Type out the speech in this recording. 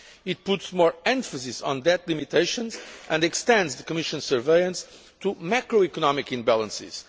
It puts more emphasis on debt limitations and extends the Commission's surveillance to macroeconomic imbalances.